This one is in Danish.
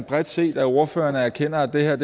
bredt set at ordførerne erkender at det her er